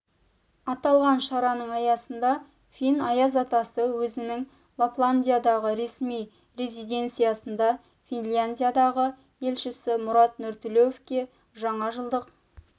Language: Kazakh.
аталған шараның аясында фин аяз атасы өзінің лапландиядағы ресми резиденциясында финляндиядағы елшісі мұрат нұртілеуовке жаңа жылдық